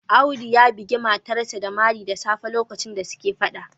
Audu ya bugi matarsa ​​da mari da safe a lokacin da suke Fada